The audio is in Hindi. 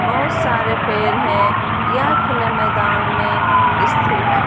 बहोत सारे पेड़ है यह खुले मैदान में स्थिर है।